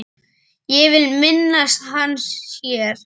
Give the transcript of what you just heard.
Ég vil minnast hans hér.